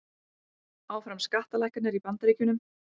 Áfram skattalækkanir í Bandaríkjunum